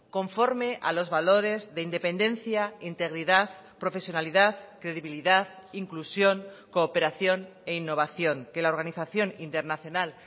conforme a los valores de independencia integridad profesionalidad credibilidad inclusión cooperación e innovación que la organización internacional